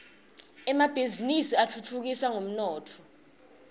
emabhizinisi atfutfukisa umnotfo